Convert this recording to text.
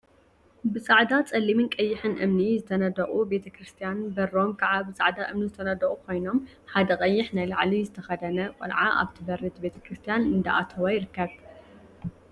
ብጻዕዳ፣ ጸሊምን ቀይሕን እምኒ ዝተነደቁ ቤተ ክርስትያን በሮም ከዓ ብጻዕዳ እምኒ ዝተነደቁ ኮይኖም፣ ሓደ ቀይሕ ናይ ላዕሊ ዝተከደነ ቆልዓ ኣብ በሪ እቲ ቤተ ክርስትያን እንዳኣተወ ይርከብ።